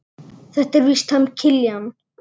Þetta er víst hann Kiljan.